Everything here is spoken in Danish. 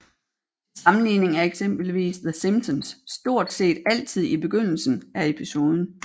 Til sammenligning er eksempelvis The Simpsons stort set altid i begyndelsen af episoden